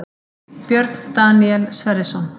Björn Daníel Sverrisson